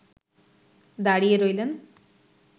দাঁড়িয়ে রইলেন